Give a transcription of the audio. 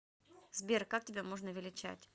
сбер как тебя можно величать